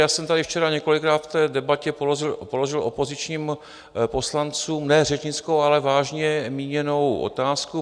já jsem tady včera několikrát v té debatě položil opozičním poslancům ne řečnickou, ale vážně míněnou otázku.